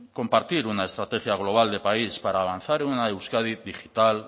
compartir una estrategia global de país para avanzar en una euskadi digital